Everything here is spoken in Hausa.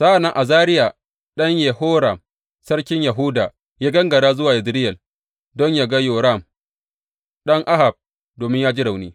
Sa’an nan Azariya ɗan Yehoram sarkin Yahuda ya gangara zuwa Yezireyel don yă ga Yoram ɗan Ahab domin ya ji rauni.